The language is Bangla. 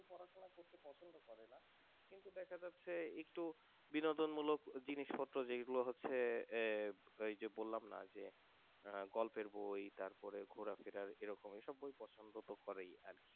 কিন্তু দেখা যাচ্ছে একটু বিনোদন মূলক জিনিসপত্র যেগুলো হচ্ছে আহ এইযে বললামনা যে আহ গল্পের বই তারপরে ঘোরা ফেরা এরকম বই পছন্দ তো করেই আর,